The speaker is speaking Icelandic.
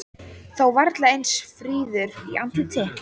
Þó varla eins fríður í andliti.